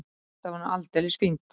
Þetta var nú aldeilis fínt.